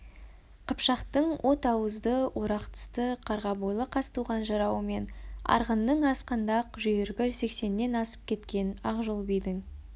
қыпшақтың от ауызды орақ тісті қарға бойлы қазтуған жырауы мен арғынның ақсандақ жүйрігі сексеннен асып кеткен ақжол бидің